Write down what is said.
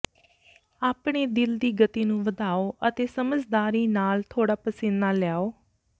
ਆਪਣੇ ਦਿਲ ਦੀ ਗਤੀ ਨੂੰ ਵਧਾਓ ਅਤੇ ਸਮਝਦਾਰੀ ਨਾਲ ਥੋੜਾ ਪਸੀਨਾ ਲਿਆਓ